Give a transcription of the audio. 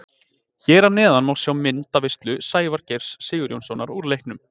Hér að neðan má sjá myndaveislu Sævars Geirs Sigurjónssonar úr leiknum.